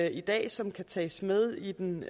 i dag som kan tages med i den